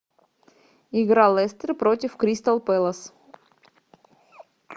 игра лестер против кристал пэлас